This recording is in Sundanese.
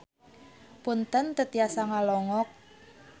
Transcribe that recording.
Punten teu tiasa ngalongok.